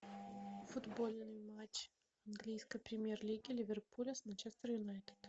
футбольный матч английской премьер лиги ливерпуля с манчестер юнайтед